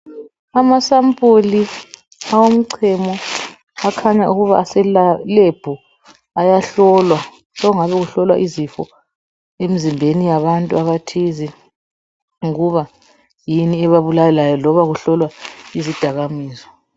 Asampuli awomchemo akhanya ukuba aselab ayahlolwa, sekungabe kuhlolwa izifo emzimbeni yabantu abathize ukuba yini ebabulalayo loba kuhlolwa izidakamizwa.